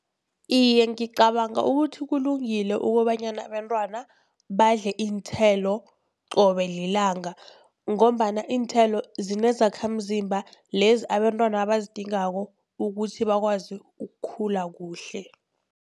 Iye, ngicabanga ukuthi kulungile kobanyana abentwana badle iinthelo qobe lilanga, ngombana iinthelo zinezakhamzimba lezi abentwana abazidingako ukuthi bakwazi ukukhula kuhle.